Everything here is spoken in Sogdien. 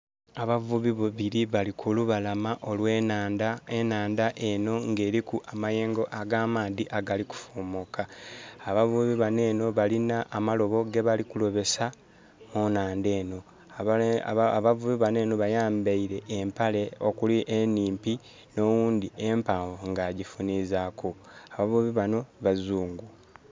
Abavubi babiri bali kulubalama olwe nandha. Enaandha eno ng' eriku amayengo aga maadhi agali ku fumuka. Abavubi bano Eno balina amalobo gebali kulobesa munaandha eno. Abavubi bano bayambaire empale okuli enimpi nowundi empanvu nga agifunizaku. Abavubi bano bazungu